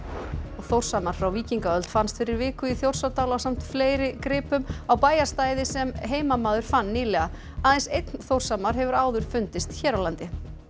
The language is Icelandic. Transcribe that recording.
Þórshamar frá víkingaöld fannst fyrir viku í Þjórsárdal ásamt fleiri gripum á bæjarstæði sem heimamaður fann nýlega aðeins einn Þórshamar hefur áður fundist hér á landi